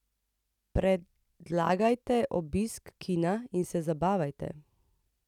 Predlagajte obisk kina in se zabavajte.